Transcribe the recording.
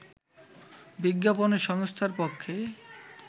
বিজ্ঞাপনী সংস্থার পক্ষে